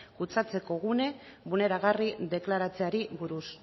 kutsatzeko gune bulneragarri deklaratzeari buruz